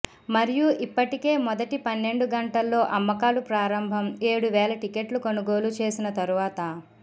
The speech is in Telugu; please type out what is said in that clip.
మరియు ఇప్పటికే మొదటి పన్నెండు గంటల్లో అమ్మకాలు ప్రారంభం ఏడు వేల టిక్కెట్లు కొనుగోలు చేసిన తరువాత